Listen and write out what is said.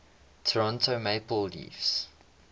toronto maple leafs